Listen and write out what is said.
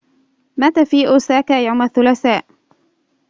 مات في أوساكا يوم الثلاثاء